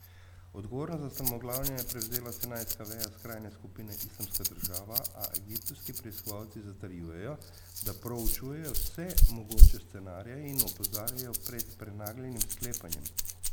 Odgovornost za strmoglavljenje je prevzela sinajska veja skrajne skupine Islamska država, a egiptovski preiskovalci zatrjujejo, da proučujejo vse mogoče scenarije in opozarjajo pred prenagljenim sklepanjem.